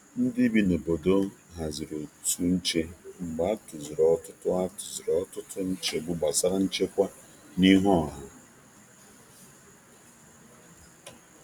Ndị bi n’obodo haziri otu nche mgbe a tụziri ọtụtụ a tụziri ọtụtụ nchegbu gbasara nchekwa n’ihu ọha.